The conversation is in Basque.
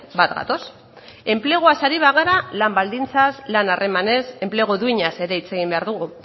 bat gatoz enpleguaz ari bagara lan baldintzaz lan harremanez enplegu duinaz ere hitz egin behar dugu